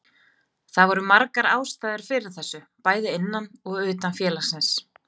Það voru margar ástæður fyrir þessu bæði innan og utan félagsins.